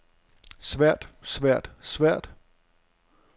svært svært svært